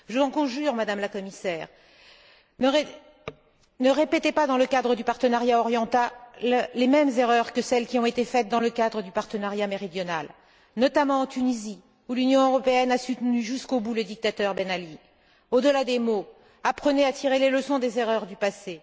Je vous en conjure, Madame la Commissaire, ne répétez pas dans le cadre du partenariat oriental les mêmes erreurs que celles qui ont été faites dans le cadre du partenariat méridional, notamment en Tunisie, où l'Union européenne a soutenu jusqu'au bout le dictateur Ben Ali. Au delà des mots, apprenez à tirer les leçons des erreurs du passé.